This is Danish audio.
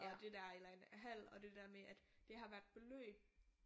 Og det der eller en halv og det der med at det har været beløb